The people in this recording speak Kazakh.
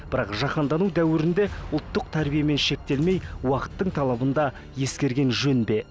бірақ жаһандану дәуірінде ұлттық тәрбиемен шектелмей уақыттың талабын да ескерген жөн бе